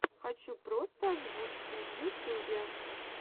хочу просто озвучку в ютюбе